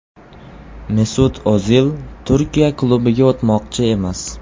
Mesut O‘zil Turkiya klubiga o‘tmoqchi emas.